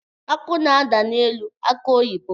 Akụ na-ada n’elu akụ oyibo